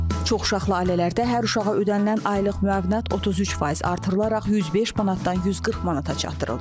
Çox uşaqlı ailələrdə hər uşağa ödənilən aylıq müavinət 33% artırılaraq 105 manatdan 140 manata çatdırıldı.